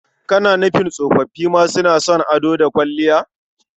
Kana nufin tsofoffi ma suna son ado da kwalliya?